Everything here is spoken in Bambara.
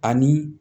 Ani